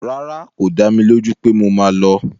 Rárá, kò dá mi lójú pé mo máa lọ